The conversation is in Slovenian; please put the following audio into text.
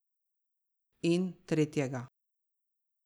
In tretjega ...